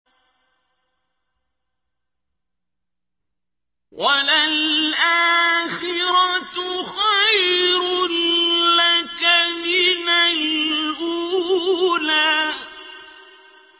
وَلَلْآخِرَةُ خَيْرٌ لَّكَ مِنَ الْأُولَىٰ